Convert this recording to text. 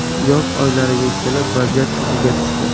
Yoz oylariga kelib, vaziyat iziga tushdi.